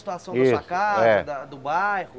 A situação da Isso é sua casa, do bairro.